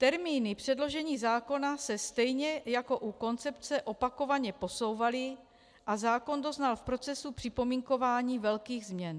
Termíny předložení zákona se stejně jako u koncepce opakovaně posouvaly a zákon doznal v procesu připomínkování velkých změn.